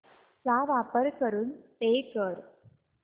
चा वापर करून पे कर